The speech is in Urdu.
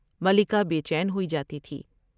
ملکہ بے چین ہوئی جاتی تھی ۔